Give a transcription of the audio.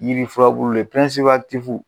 Yiri furabulu le